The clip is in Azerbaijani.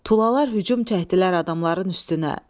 Tulalar hücum çəkdilər adamların üstünə.